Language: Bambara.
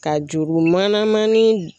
Ka juru manamannin